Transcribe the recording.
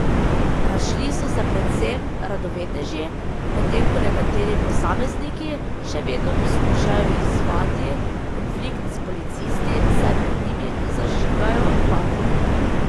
Razšli so se predvsem radovedneži, medtem ko nekateri posamezniki še vedno poskušajo izzvati konflikt s policisti, saj pred njimi zažigajo bakle.